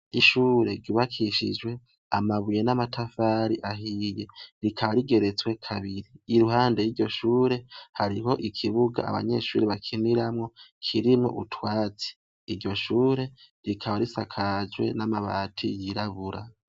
Ishure ryubakishijwe amabuye n'amatafari ahiye rikaba rigeretse kabiri iruhande yiryo shure hariho ikibuga abanyeshure bakiniramwo, kirimwo utwatsi, iryo shure rikaba risakajwe n'amabati yirabura.